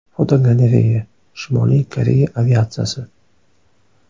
Fotogalereya: Shimoliy Koreya aviatsiyasi.